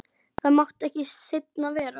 Það mátti ekki seinna vera!